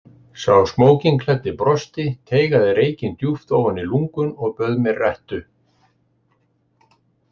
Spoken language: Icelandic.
Sá smókingklæddi brosti, teygaði reykinn djúpt ofan í lungun og bauð mér rettu.